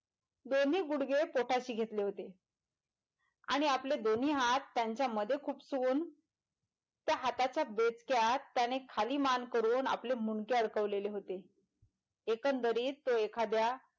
दोन्ही गुडघे पोटाशी घेतले होते आणि आपले दोन्ही हात त्यांच्या मध्ये खुपसून त्या हाताच्या बेचक्यात त्याने खाली मान करून आपले मुडके अडकवलेले होते एकंदरीत तो एखाद्या,